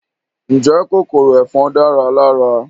Ǹjẹ́ kòkòrò ẹ̀fọn dára lára?